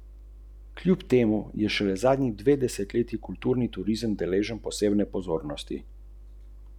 Temu je botrovala predvsem nižja vrednost zlata.